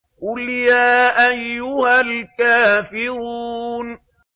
قُلْ يَا أَيُّهَا الْكَافِرُونَ